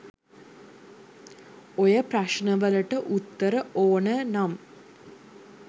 ඔය ප්‍රශ්න වලට උත්තර ඕන නම්